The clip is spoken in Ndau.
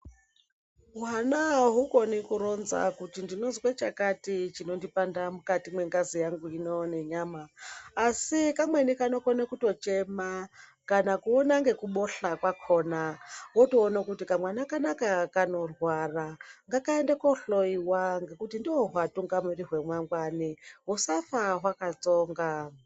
Hwana ahukoni kuronza kuti ndinozwe chakati chinondipanda mukati mwengazi yangu ino nenyama asi kamweni kanokona kutochema kana kuona ngekubohla kwakona wotoona kuti kamwana kanaka kanorwara ngakaende kohloiwa ngekuti ndohuatungamiri hwemangwani husafa hwakatsonga.